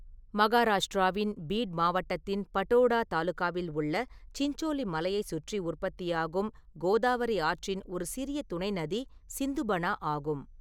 மகாராஷ்டிராவின் பீட் மாவட்டத்தின் படோடா தாலுகாவில் உள்ள சின்சோலி மலையை சுற்றி உற்பத்தியாகும் கோதாவரி ஆற்றின் ஒரு சிறிய துணை நதி சிந்துபனா ஆகும்.